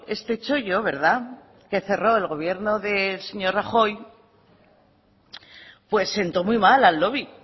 este chollo verdad que cerró el gobierno del señor rajoy pues sentó muy mal al lobby